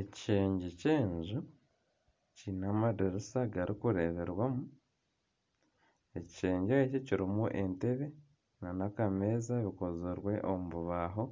Ekishengye ky'enju kiine amadiirisa garikureeberwamu ekishengye eki kirimu entebe nana akameeza bikozirwe omu bubaho